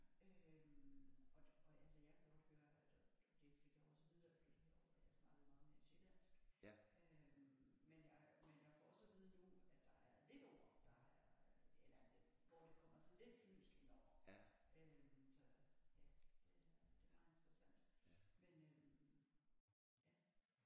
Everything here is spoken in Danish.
Øh og og altså jeg kan godt høre altså det fik jeg også at vide da jeg flyttede herover at jeg snakkede meget mere sjællandsk øh men jeg men jeg men jeg får også at vide nu at der er lidt ord der er eller en del hvor der kommer sådan lidt fynsk ind over så ja det er det er meget interessant men øh ja